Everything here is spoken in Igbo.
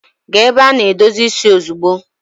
Gaa ebe a na-edozi isi ozugbo!